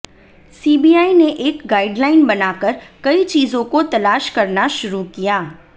CBI ने एक guideline बना कर कई चीजों को तलाश करना शुरू किया